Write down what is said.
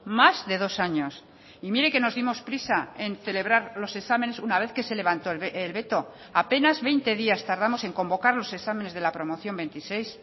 más de dos años y mire que nos dimos prisa en celebrar los exámenes una vez que se levantó el veto apenas veinte días tardamos en convocar los exámenes de la promoción veintiséis